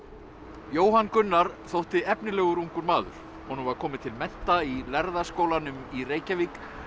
Jóhann Gunnar þótti efnilegur ungur maður honum var komið til mennta í lærða skólanum í Reykjavík